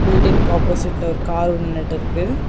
பில்டிங்க்கு ஆப்போசிட்ல ஒரு கார் ஒன்னு நின்னுட்ருக்கு.